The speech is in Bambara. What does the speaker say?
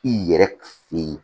I yɛrɛ fe yen